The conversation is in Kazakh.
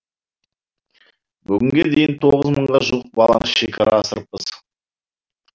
бүгінге дейін тоғыз мыңға жуық баланы шекара асырыппыз